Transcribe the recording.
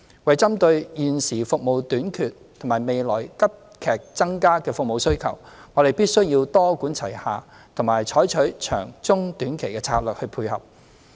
為針對現時服務短缺及未來服務需求急劇增加，我們必須多管齊下，採取長、中、短期策略來配合。